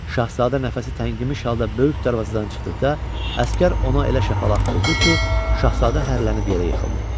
Şahzadə nəfəsi təngimiş halda böyük darvazadan çıxdıqda əsgər ona elə şapalaq vurdu ki, Şahzadə hərlənib yerə yıxıldı.